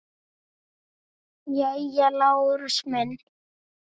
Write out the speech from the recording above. Jæja, Lárus minn.